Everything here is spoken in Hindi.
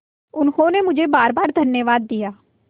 उन्होंने मुझे बारबार धन्यवाद दिया